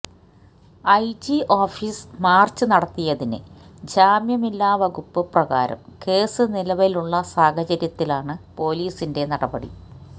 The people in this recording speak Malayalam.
ഐജി ഓഫീസ് മാര്ച്ച് നടത്തിയതിന് ജാമ്യമില്ലാ വകുപ്പ് പ്രകാരം കേസ് നിലവിലുള്ള സാഹചര്യത്തിലാണ് പോലീസിന്റെ നടപടി